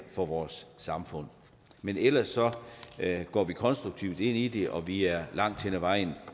for vores samfund men ellers går vi konstruktivt ind i det og vi er langt hen ad vejen